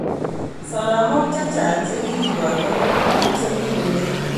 Soromok chechang chekikoitoi kobunu bik chekikomeyo.